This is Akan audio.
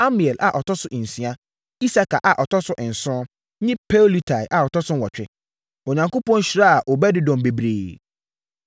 Amiel a ɔtɔ so nsia, Isakar a ɔtɔ so nson, ne Peuletai a ɔtɔ so nwɔtwe. Onyankopɔn hyiraa Obed-Edom bebree.